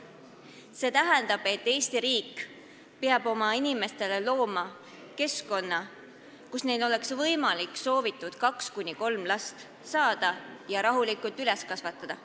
See tähendab, et Eesti riik peab looma oma inimestele keskkonna, kus neil oleks võimalik soovitud kaks kuni kolm last saada ja rahulikult üles kasvatada.